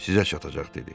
Sizə çatacaq dedi.